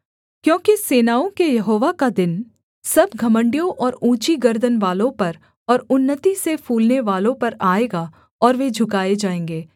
क्योंकि सेनाओं के यहोवा का दिन सब घमण्डियों और ऊँची गर्दनवालों पर और उन्नति से फूलनेवालों पर आएगा और वे झुकाए जाएँगे